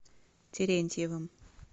терентьевым